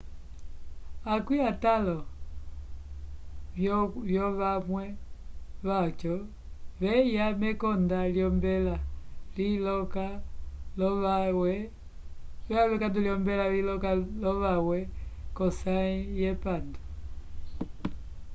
akwĩ atãlo vyovawe vyaco vyeya mekonda lyombela liloka lovawe k'osãyi yepandu